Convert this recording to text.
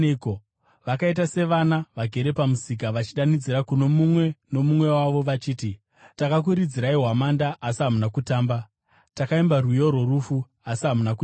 Vakaita savana vagere pamusika vachidanidzira kuno mumwe nomumwe wavo vachiti: “ ‘Takakuridzirai hwamanda, asi hamuna kutamba; takaimba rwiyo rworufu, uye hamuna kuchema.’